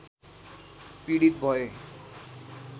पीडित भए